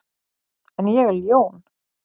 En ég er ljón.